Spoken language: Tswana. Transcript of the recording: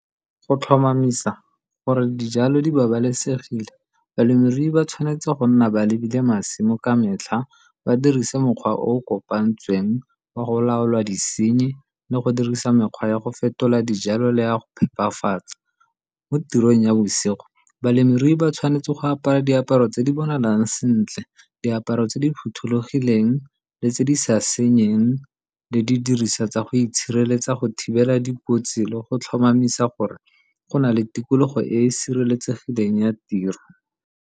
Go tlhomamisa gore dijalo di babalesegile balemirui ba tshwanetse go nna ba lebile masimo ka metlha, ba dirise mokgwa o o kopantsweng wa go laola disenyi le go dirisa mekgwa ya go fetola dijalo le ya go phepafatsa. Mo tirong ya bosigo, balemirui ba tshwanetse go apara diaparo tse di bonalang sentle, diaparo tse di phothulogileng le tse di sa senyeng le didiriswa tsa go itshireletsa go thibela dikotsi le go tlhomamisa gore go na le tikologo e e sireletsegileng ya tiro.